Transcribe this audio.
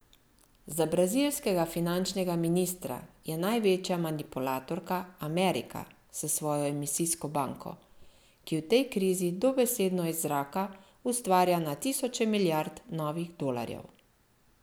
Za brazilskega finančnega ministra je največja manipulatorka Amerika s svojo emisijsko banko, ki v tej krizi dobesedno iz zraka ustvarja na tisoče milijard novih dolarjev.